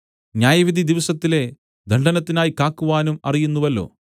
ന്യായവിധിദിവസത്തിലെ ദണ്ഡനത്തിനായി കാക്കുവാനും അറിയുന്നുവല്ലോ